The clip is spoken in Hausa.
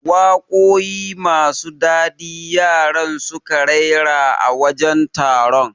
Waƙoƴi masu dadi yaran suka raira a wajen taron